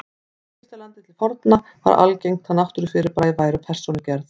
Í Egyptalandi til forna var algengt að náttúrufyrirbæri væru persónugerð.